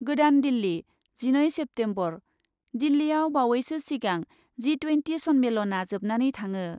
गोदान दिल्ली , जिनै सेप्तेम्बर, दिल्लीयाव बावैसो सिगां जि ट्वेन्टि सन्मेलनआ जोबनानै थाङो ।